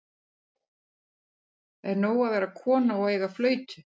Eða er nóg að vera kona og eiga flautu?